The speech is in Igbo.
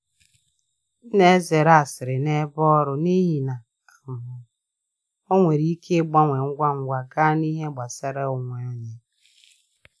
M na-ezere asịrị n’ebe ọrụ n’ihi na um ọ nwere ike ịgbanwe ngwa ngwa gaa n’ihe gbasara onwe onye.